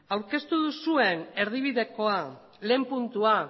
aurkeztu duzuen erdibidekoa lehen puntua